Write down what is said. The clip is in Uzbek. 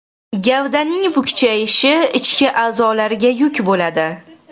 Gavdaning bukchayishi, ichki a’zolarga yuk bo‘ladi.